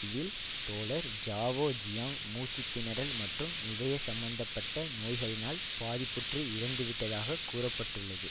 இதில் தோழர் Zhao Ziyang மூச்சு திணறல் மற்றும் இதய சம்பந்த பட்ட நோய்களினால் பாதிப்புற்று இறந்து விட்டதாகக் கூற பட்டுள்ளது